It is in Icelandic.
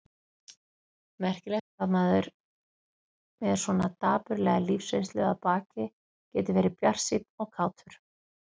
Merkilegt hvað maður með svona dapurlega lífsreynslu að baki getur verið bjartsýnn og kátur.